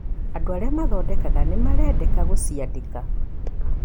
Andũ arĩa mathondekaga nĩ marendeka gũciandĩka.